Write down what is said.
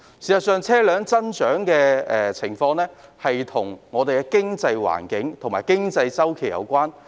事實上，車輛增長的情況與我們的經濟環境和經濟周期有關。